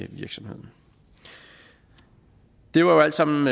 virksomheden det er jo alt sammen